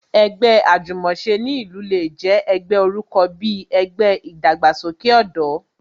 Ẹgbẹ́ Àjùmòse ní ìlú le jẹ́ ẹgbẹ́ orúkọ bí ẹgbẹ́ ìdàgbàsókè ọ̀dọ́